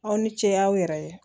Aw ni ce aw yɛrɛ ye